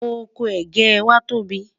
ọkọ̀ ẹgẹ wà tó bí